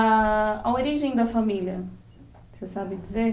A a origem da família, você sabe dizer?